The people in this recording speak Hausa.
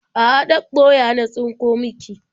A'a, ɗaɗɗoya na tsinko miki.